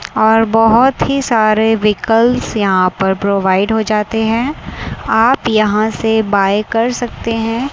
और बहोत ही सारे वहीकल्स यहां पर प्रोवाइड हो जाते है आप यहां से बाय कर सकते है।